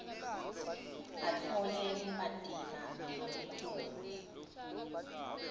atfole bumatima lobukhulu